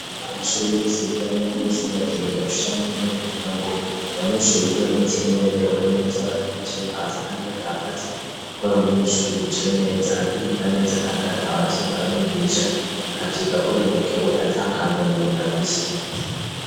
Amashuru yose bigiramwo namesi n'ibategeza gushanke y'intare kukera ngo abanyishuri bigi bameze nerewe neza baticaye hasi, kandi batagati, kuko ari umunyishuru yicaye neza agiriga neza, kandi agatawanavyo yokaramwigisha akavyika agononokewe acankangono ngo na vise.